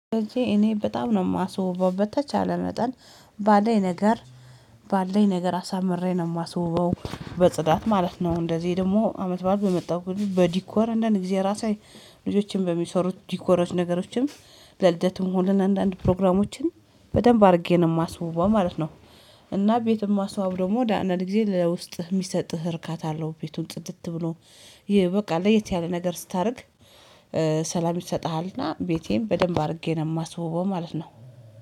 እኔ በጣም ነው የማስውበው በተቻለ መጠን ባለኝ ነገር ባለኝ ነገር አሳምሬ ነው የማስውበው በጽዳት ማለት ነው። እንደዚህ ደግሞ አመት በአመት በመጣው በዲኮር እንደን ጊዜ ራሴ ልጆችን በሚሰሩት ዲኮሮች ነገሮችን ለልደትም ሆነን አንዳንድ ፕሮግራሞችን በደንብ አድርጌ ነው የማስበው ማለት ነው። እና ቤትም ማስዋብ ደግሞ አንዳንድ ጊዜ ለውስጥህ የሚሰጥህ እርካታ አለው። ቤቱን ጽድት ብሎ ይ በቃ ለየት ያለ ነገር ስታደርግ ሰላም ይሰጥሃልና። ቤቴም በደንብ አድርጌ ነው የማስበው ማለት ነው